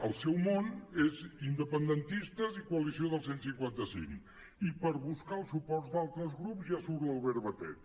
el seu món és independentistes i coalició del cent i cinquanta cinc i per buscar el suport d’altres grups ja surt l’albert batet